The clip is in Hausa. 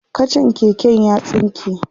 kachan keken ya tsinke